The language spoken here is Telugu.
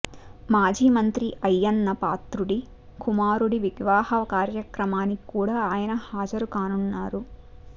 మాజీ మంత్రి అయ్యన్నపాత్రుడి కుమారుడి వివాహ కార్యక్రమానికి కూడా ఆయన హాజరు కానున్నారు